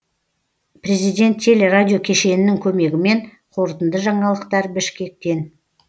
президент теле радио кешенінің көмегімен қорытынды жаңалықтар бішкектен